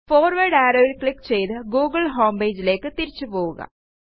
forward arrowൽ click ചെയ്ത് Google homepageലേയ്ക്ക് തിരിച്ചുപോവുക